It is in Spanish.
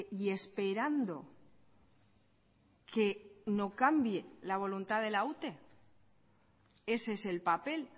y esperando que no cambie la voluntad de la ute ese es el papel